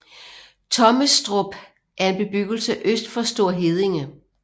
Tommestrup er en bebyggelse øst for Store Heddinge